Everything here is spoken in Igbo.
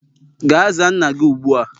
Ga zaa nna gi ụgbụ a